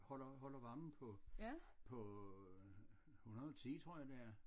Holder holder varmen på 110 tror jeg det er